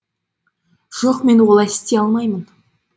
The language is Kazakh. жоқ мен олай істей алмаймын